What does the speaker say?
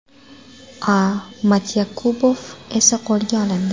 A. Matyakubov esa qo‘lga olindi.